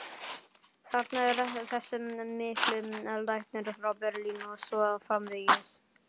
þarna er þessi mikli læknir frá Berlín og svo framvegis.